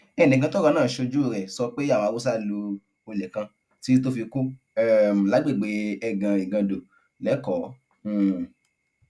ẹnìkan tọrọ náà ṣojú rẹ sọ pé àwọn haúsá lu olè kan títí tó fi kú um lágbègbè ẹgàn igando lẹkọọ um